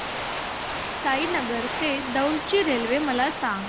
साईनगर ते दौंड ची रेल्वे मला सांग